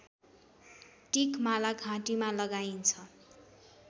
टिकमाला घाँटीमा लगाइन्छ